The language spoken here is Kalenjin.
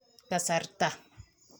Kasarta